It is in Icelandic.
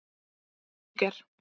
Níger